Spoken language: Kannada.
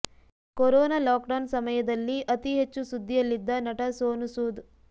ಕೊರೊನಾ ಲಾಕ್ಡೌನ್ ಸಮಯದಲ್ಲಿ ಅತಿ ಹೆಚ್ಚು ಸುದ್ದಿಯಲ್ಲಿದ್ದ ನಟ ಸೋನು ಸೂದ್